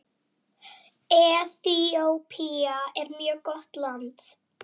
Eþíópía er mjög gott land.